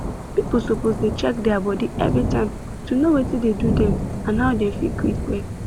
people suppose dey check their body everytime to know watin dey do dem and how dem fit quick well